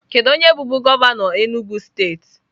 Kedu onye bụbu gọvanọ Enugwu steeti?